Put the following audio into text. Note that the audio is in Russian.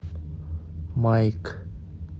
майк